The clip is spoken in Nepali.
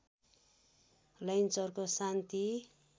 लैनचौरको शान्ति